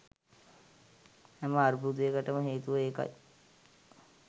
හැම අර්බුදයකටම හේතුව ඒකයි